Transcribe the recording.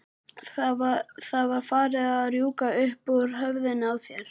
Það var farið að rjúka upp úr höfðinu á þér.